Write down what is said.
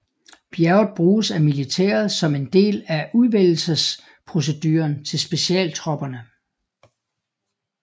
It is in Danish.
Bjerget bruges af militæret som en del af udvælgelsesproceduren til specialtropperne